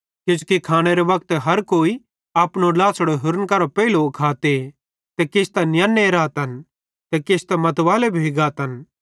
किजोकि खानेरे वक्ते हर कोई अपनो ड्लाछ़ड़ो होरन करां पेइलो खाते ते किछ त नियन्नो रहतन ते किछ मतवालो भोइ गाते